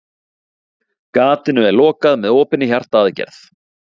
Gatinu er lokað með opinni hjartaaðgerð.